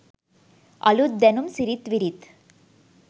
අලුත් දැනුම් සිරිත් විරිත්